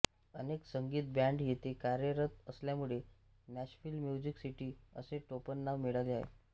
अनेक संगीत बॅंड येथे कार्यरत असल्यामुळे नॅशव्हिल म्युझिक सिटी असे टोपणनाव मिळाले आहे